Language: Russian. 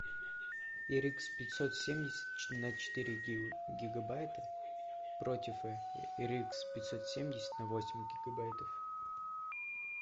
эр икс пятьсот семьдесят на четыре гигабайта против эр икс пятьсот семьдесят на восемь гигабайтов